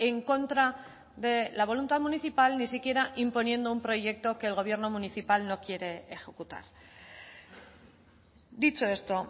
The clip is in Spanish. en contra de la voluntad municipal ni siquiera imponiendo un proyecto que el gobierno municipal no quiere ejecutar dicho esto